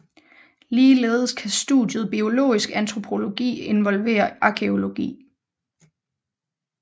Ligeledes kan studiet biologisk antropologi involvere arkæologi